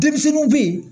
Denmisɛnninw bɛ yen